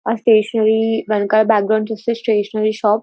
Stationery వెనకాల background చూస్తే stationery shop .